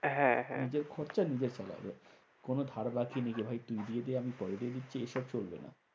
হ্যাঁ হ্যাঁ নিজের খরচা নিজে চালাবে। কোনো ধার বাকি যে তুই দিয়ে দে ভাই আমি পরে দিয়ে দিচ্ছি এসব চলবে না।